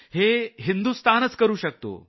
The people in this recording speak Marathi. हे भारत करू शकतो